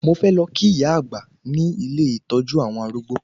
Mo fẹ́ lọ kí ìyá-àgbà ní ilé ìtọ́jú àwọn arúgbó